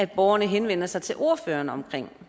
borgerne henvender sig til ordføreren om